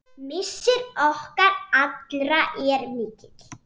Missir okkar allra er mikill.